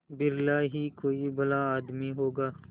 बिरला ही कोई भला आदमी होगा